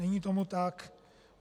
Není tomu tak.